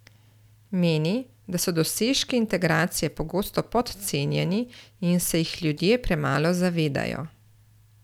Meni, da so dosežki integracije pogosto podcenjeni in se jih ljudje premalo zavedajo.